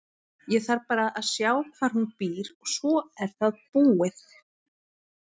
Ég þarf bara að sjá hvar hún býr og svo er það búið.